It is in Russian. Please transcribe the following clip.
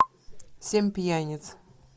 семь пьяниц